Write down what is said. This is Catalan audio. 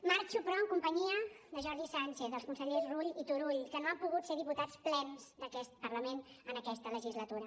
marxo però en companyia de jordi sànchez dels consellers rull i turull que no han pogut ser diputats plens d’aquest parlament en aquesta legislatura